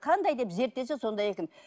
қандай деп зерттесе сондай екен